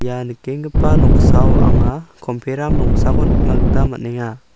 ia nikenggipa noksao anga komperam rongsako nikna gita man·enga.